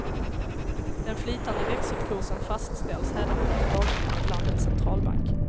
Den flytande växelkursen fastställs hädanefter dagligen av landets centralbank.